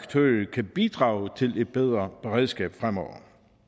kan bidrage til et bedre beredskab fremover